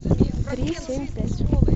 три семь пять